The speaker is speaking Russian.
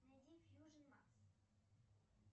найди фьюжин макс